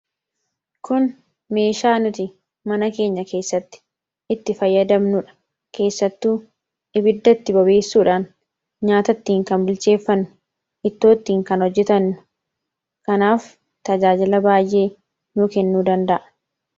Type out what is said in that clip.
Kun meeshaa nuti mana keenya keessatti itti fayyadamnuudha. Keessattuu ibiddatti bobeessuudhaan nyaata ittiin kan bilcheeffannu fi ittoo ittiin kan hojjetannu kanaaf tajaajila baay'ee nu kennuu danda'a.